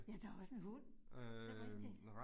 Ja, der også en hund. Det rigtigt